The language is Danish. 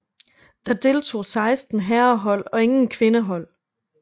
Der deltog seksten herrehold og ingen kvindehold